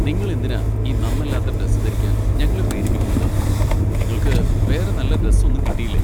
നിങ്ങൾ എന്തിനാ ഈ നന്നല്ലാത്ത ഡ്രസ്സ് ധരിക്കാൻ ഞങ്ങളെ പ്രേരിപ്പിക്കുന്നത്? നിങ്ങൾക്ക് വേറെ നല്ല ഡ്രസ്സ് ഒന്നും കിട്ടിയില്ലേ ?